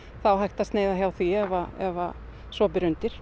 þá hægt að sneiða hjá því ef ef að svo ber undir